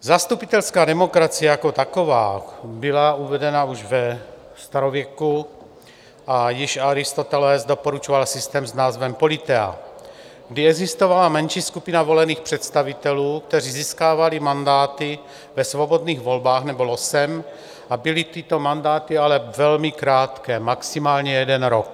Zastupitelská demokracie jako taková byla uvedena už ve starověku a již Aristoteles doporučoval systém s názvem politeia, kdy existovala menší skupina volených představitelů, kteří získávali mandáty ve svobodných volbách nebo losem, a byly tyto mandáty ale velmi krátké, maximálně jeden rok.